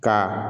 Ka